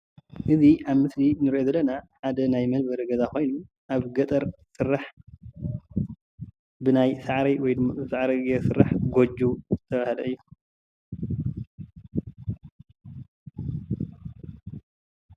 እዛ ኣብ ምስሊ እንሪኦ ዘለና ሓደ ናይ መንበሪ ገዛ ኾይኑ ኣብ ገጠር ዝስራሕ ብናይ ሳዕሪ ጌሩ ዝስራሕ ጎጆ ዝተብሃለ እዩ።